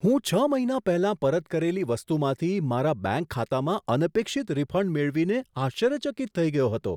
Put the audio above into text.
હું છ મહિના પહેલાં પરત કરેલી વસ્તુમાંથી મારા બેંક ખાતામાં અનપેક્ષિત રિફંડ મેળવીને આશ્ચર્યચકિત થઈ ગયો હતો.